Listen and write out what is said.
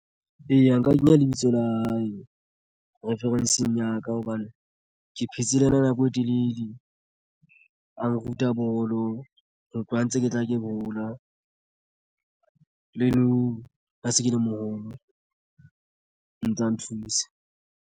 Eya, nka kenya lebitso la hae reference-ng ya ka hobane ke phetse le yena nako e telele a nruta bolo ho tloha ntse ke tla ke hola le nou ha se ke le moholo o ntsa nthusa.